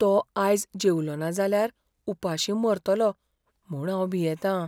तो आयज जेवलोना जाल्यार उपाशीं मरतलो म्हूण हांव भियेतां.